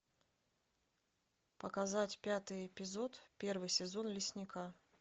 показать пятый эпизод первый сезон лесника